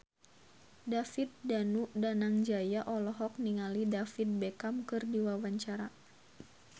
David Danu Danangjaya olohok ningali David Beckham keur diwawancara